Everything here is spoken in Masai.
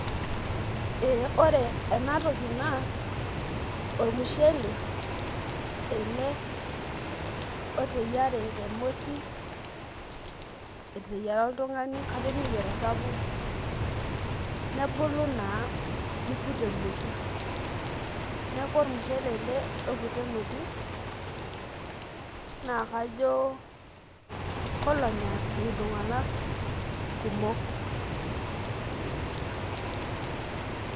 Ee ore enatoki naa ormushele ele oteyiare temoti , eteyiera oltungani kajo neyier osapuk , nebulu naa niput emoti , niaku ormushele ele oipua emoti naa kajo kolonya iltunganak kumok .